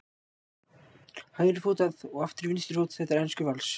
hægri fót að og aftur í vinstri fót. þetta er enskur vals!